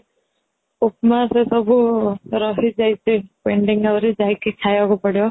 ଉପମା ସେ ସବୁ ରହିଯାଇଛି pending ଆଉରି ଯାଇକି ଖାଇବାକୁ ପଡିବ